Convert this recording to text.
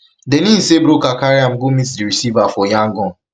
den im say di broker carry am go meet di receiver for yangon